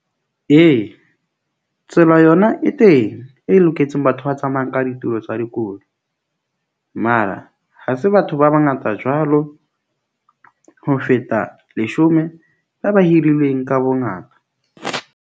Ee, tsela yona e teng e loketseng batho ba tsamayang ka ditulo tsa dikolo. Mara ha se batho ba bangata jwalo, ho feta leshome ha ba hirilweng ka bongata.